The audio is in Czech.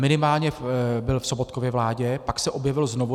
Minimálně byl v Sobotkově vládě, pak se objevil znovu.